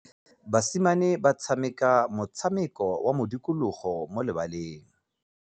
Basimane ba tshameka motshameko wa modikologô mo lebaleng.